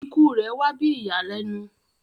Ikú rẹ wà bí ìyànlènu